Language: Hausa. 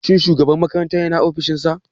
Shin shugaban makarantar yana ofishin sa.